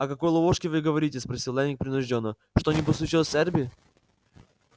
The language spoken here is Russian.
о какой ловушке вы говорите спросил лэннинг принуждённо что-нибудь случилось с эрби